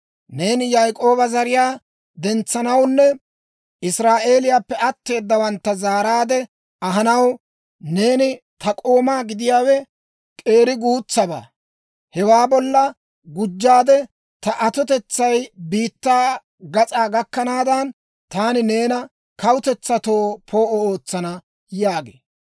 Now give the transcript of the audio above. «Neeni Yaak'ooba zariyaa dentsanawunne Israa'eeliyaappe atteedawantta zaaraade ahanaw, neeni taw k'oomaa gidiyaawe k'eeri guutsabaa. Hewaa bolla gujjaade, ta atotetsay biittaa gas'aa gakkanaadan, taani neena kawutetsatoo poo'o ootsana» yaagee.